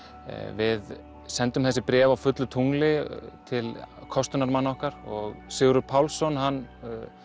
við sendum þessi bréf á fullu tungli til kostunarmanna okkar og Sigurður Pálsson hann